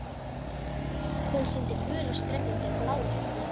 Hún sýndi gula strönd undir bláum himni.